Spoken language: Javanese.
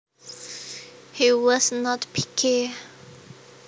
He was not picky